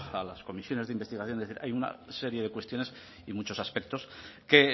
a las comisiones de investigación es decir hay una serie de cuestiones y muchos aspectos que